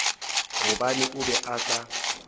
gobane o be a sa